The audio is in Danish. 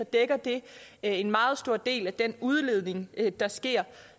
dækker det en meget stor del af den udledning der sker